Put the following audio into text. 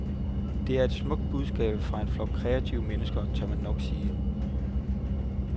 Det er et smukt budskab fra en flok kreative mennesker, tør man nok sige.